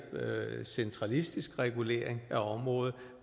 centralistisk regulering af området